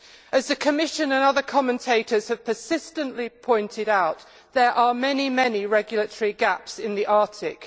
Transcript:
As the Commission and other commentators have persistently pointed out, there are many, many regulatory gaps in the Arctic.